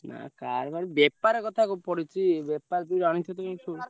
ନାଇଁ car ମାନେ ବେପାର କଥା ପଡିଛି ବେପାର ତ ଜାଣିଛ ତ ଏଇ ।